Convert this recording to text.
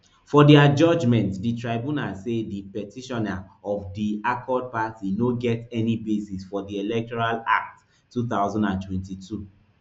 for dia judgement di tribunal say di petitioner of di accord party no get any basis for di electoral act two thousand and twenty-two